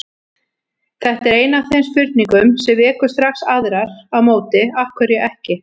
Þetta er ein af þeim spurningum sem vekur strax aðrar á móti: Af hverju ekki?